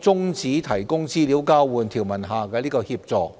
中止提供資料交換條文下的協助，